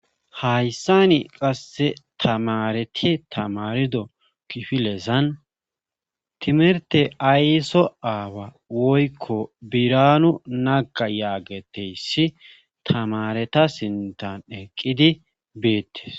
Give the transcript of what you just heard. Hayssani qassi tamaareti tamaarido kifilezan timirtte ayso aawa woykko biraanu naga yaagetteyssi tamaareta sintan eqqidi beettes.